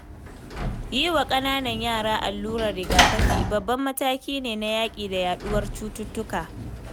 Yi wa ƙananan yara allurar riga-kafi, babban mataki ne na yaƙi da yaɗuwar cututtuka.